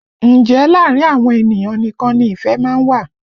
Ǹjẹ́ láàrin àwọn ènìyàn nìkan ni ìfẹ́ má ń wà?